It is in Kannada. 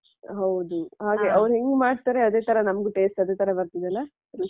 ಹೌದು ಹಾಗೆ ಅವ್ರು ಹೆಂಗ್ ಮಾಡ್ತಾರೆ ಅದೇ ತರ ನಮ್ಗೂ taste ಅದೇ ತರ ಬರ್ತದಲ್ಲಾ ರುಚಿ?